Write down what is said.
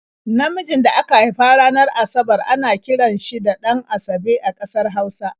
Namijin da aka haifa ranar Asabar ana kiran shi da 'Ɗan-asabe' a ƙasar Hausa.